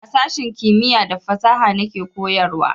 A sashen kimiya da fasaha na ke koyarwa